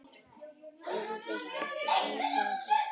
Virðist ekki vanþörf á því.